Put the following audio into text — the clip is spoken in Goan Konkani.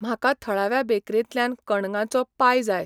म्हाका थळाव्या बेकरेंतल्यान कणंगाचो पाय जाय